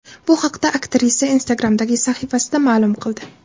Bu haqda aktrisa Instagram’dagi sahifasida ma’lum qildi.